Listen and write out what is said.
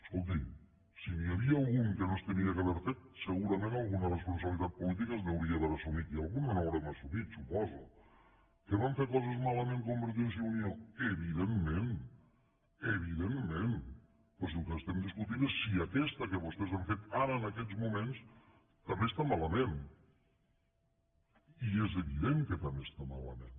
escolti si n’hi havia algun que no s’havia d’haver fet segurament alguna responsabilitat política hauríem d’haver assumit i alguna n’haurem assumit suposo que vam fer coses malament convergència i unió evidentment evidentment però és que ara el que estem discutint és si aquesta que vostès han fet ara en aquests moments també està malament i és evident que també està malament